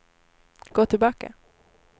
gå tillbaka